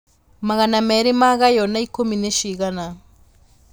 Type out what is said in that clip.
magana merĩmagaywo na ikũmi nĩcigana